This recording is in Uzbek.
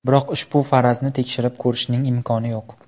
Biroq ushbu farazni tekshirib ko‘rishning imkoni yo‘q.